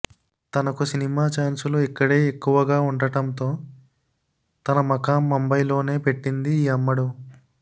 తనకు సినిమా ఛాన్సులు ఇక్కడే ఎక్కువగా ఉండటంతో తన మకాం ముంబైలోనే పెట్టింది ఈ అమ్మడు